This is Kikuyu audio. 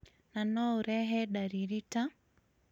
na no ũrehe dariri ta